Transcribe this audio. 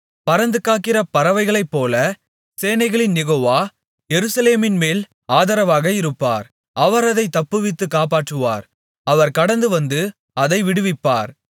பறந்து காக்கிற பறவைகளைப்போல சேனைகளின் யெகோவா எருசலேமின்மேல் ஆதரவாக இருப்பார் அவர் அதை தப்புவித்துக் காப்பாற்றுவார் அவர் கடந்துவந்து அதை விடுவிப்பார்